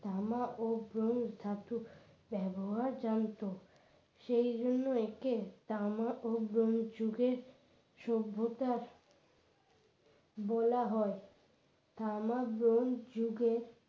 তামা ও ব্রোঞ্জ ধাতু ব্যবহার জানতো সেই জন্য একে তামা ও ব্রোঞ্জ যুগে সভ্যতার বলা হয় তামা ব্রোঞ্জ যুগের